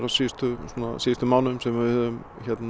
á síðustu síðustu mánuðum sem við höfum